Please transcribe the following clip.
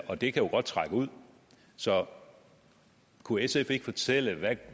og det kan jo godt trække ud så kunne sf ikke fortælle hvad